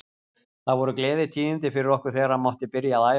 Það voru gleðitíðindi fyrir okkur þegar hann mátti byrja að æfa.